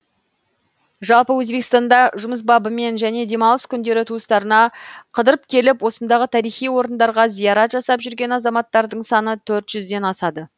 жалпы өзбекстанда жұмыс бабымен және демалыс күндері туыстарына қыдырып келіп осындағы тарихи орындарға зиярат жасап жүрген азаматтардың саны төрт жүздден асады